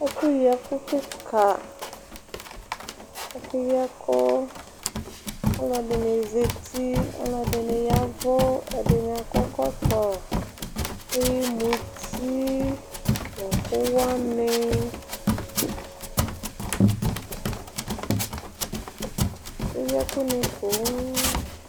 ɛfu yi ɛkò keka ɛfu yi ɛkò ɔlò ɛdini zati ɔlò ɛdini ya vu ɛdini akɔ ɛkɔtɔ ake yi muti n'ɛkò wani ake yi ɛkò ni poŋ.